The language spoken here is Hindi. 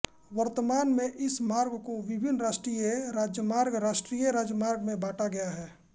वर्तमान में इस मार्ग को विभिन्न राष्ट्रीय राजमार्गराष्ट्रीय राजमार्गों में बाँटा गया है